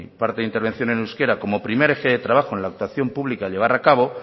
parte de mi intervención en euskera como primer eje de trabajo en la actuación pública a llevar a cabo